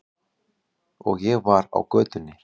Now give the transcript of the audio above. Og ég var á götunni.